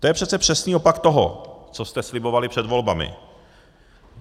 To je přece přesný opak toho, co jste slibovali před volbami.